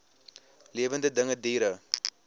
lewende dinge diere